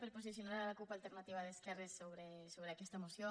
per posicionar la cup alternativa d’esquerres sobre aquesta moció